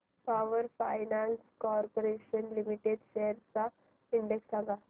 power finance corporation limited shares चा index सांगा